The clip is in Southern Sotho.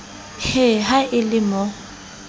he ha e le mo